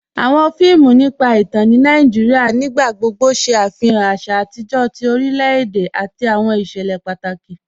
Awọn fíìmù nípa ìtàn ní Nàìjíríà nígbàgbọ̀gbọ̀ ṣé afihàn àṣà àtijọ tí orílẹ̀-èdè àti awọn iṣẹlẹ̀ pátákì.